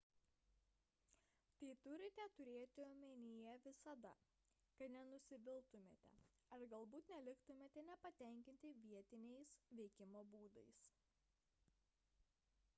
tai turite turėti omenyje visada kad nenusiviltumėte ar galbūt neliktumėte nepatenkinti vietiniais veikimo būdais